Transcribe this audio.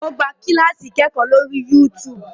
O gbà kilasi ikẹkọ lórí youtube